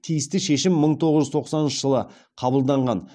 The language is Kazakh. тиісті шешім мың тоғыз жүз тоқсаныншы жылы қабылданған